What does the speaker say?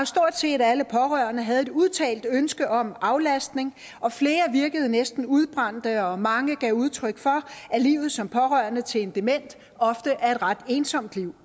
stort set alle pårørende havde et udtalt ønske om aflastning og flere virkede næsten udbrændte og mange gav udtryk for at livet som pårørende til en dement ofte er et ret ensomt liv